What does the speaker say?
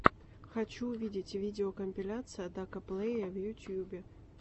хочу увидеть видеокомпиляция дака плэйя в ютубе